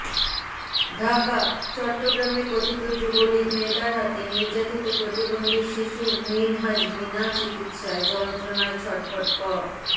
ঢাকাঃ চট্টগ্রামে কথিত যুবলীগ নেতার হাতে নির্যাতিত প্রতিবন্ধী শিশু মিনহাজ বিনা চিকিৎসায় যন্ত্রনায় ছটফট ক